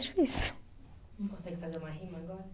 Difícil. Não consegue fazer uma rima agora?